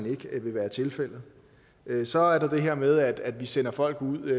ikke vil være tilfældet så er der det her med at vi sender folk ud